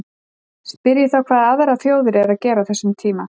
Spyrjið þá hvað aðrar þjóðir eru að gera á þessum tíma?